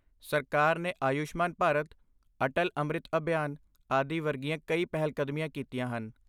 ਸਰਕਾਰ ਨੇ ਆਯੁਸ਼ਮਾਨ ਭਾਰਤ, ਅਟਲ ਅੰਮ੍ਰਿਤ ਅਭਿਆਨ ਆਦਿ ਵਰਗੀਆਂ ਕਈ ਪਹਿਲਕਦਮੀਆਂ ਕੀਤੀਆਂ ਹਨ।